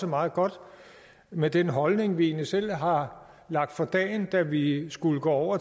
meget godt med den holdning vi selv har lagt for dagen da vi skulle gå